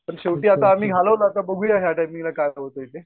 शेवटी आम्ही घालवलं आता बघूया या टाईमिंगला काय होतंय ते.